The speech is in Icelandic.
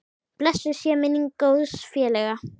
Blessuð sé minning góðs félaga.